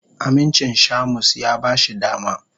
Amincin Shamus ya ba shi dama.